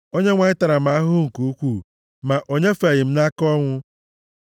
Onyenwe anyị tara m ahụhụ nke ukwuu, ma o nyefeeghị m nʼaka ọnwụ.